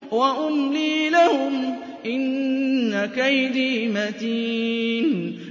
وَأُمْلِي لَهُمْ ۚ إِنَّ كَيْدِي مَتِينٌ